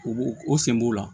U b'o o sen b'o la